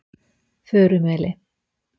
Furumeli